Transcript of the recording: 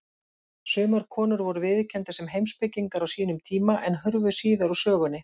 Sumar konur voru viðurkenndar sem heimspekingar á sínum tíma, en hurfu síðar úr sögunni.